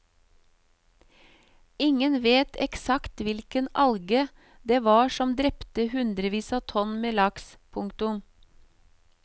Ingen vet eksakt hvilken alge det var som drepte hundrevis av tonn med laks. punktum